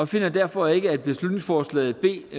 finder derfor ikke at beslutningsforslag b